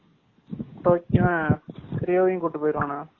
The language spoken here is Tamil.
டோக்கியோ ரியோவையும் கூட்டி போயிருவான